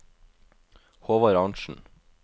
Håvard Arntzen